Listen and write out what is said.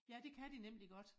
Ja det kan de nemlig godt